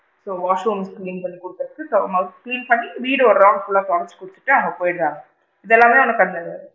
So washroom clean பண்ணி குடுத்துட்டு once clean பண்ணி வீட ஒரு round full லா துடைச்சு குடுத்துட்டு அவுங்க போயிடுறாங்க இது எல்லாமே நமக்கு அந்த,